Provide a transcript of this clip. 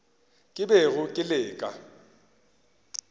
ke bego ke le ka